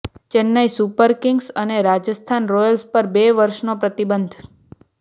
Chennai Super Kings અને Rajasthan Royals પર બે વર્ષનો પ્રતિબંધ